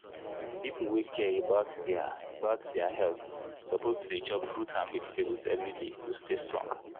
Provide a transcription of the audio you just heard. people wey care about their about their health suppose to dey chop fruits and vegetables every day to stay strong.